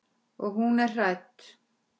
Og hún er hrædd.